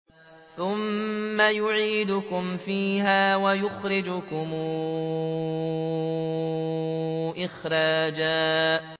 ثُمَّ يُعِيدُكُمْ فِيهَا وَيُخْرِجُكُمْ إِخْرَاجًا